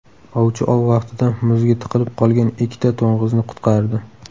Ovchi ov vaqtida muzga tiqilib qolgan ikkita to‘ng‘izni qutqardi .